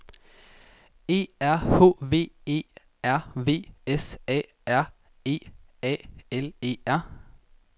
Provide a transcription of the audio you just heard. E R H V E R V S A R E A L E R